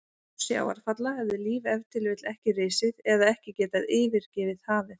Án sjávarfalla hefði líf ef til vill ekki risið eða ekki getað yfirgefið hafið.